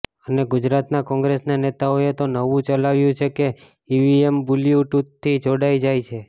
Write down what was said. અને ગુજરાતના કોંગ્રેસના નેતાઓએ તો નવું ચલાવ્યું છે કે ઈવીએમ બલ્યુ ટૂથથી જોડાય જાય છે